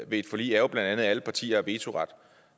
ved et forlig er bla at alle partier har vetoret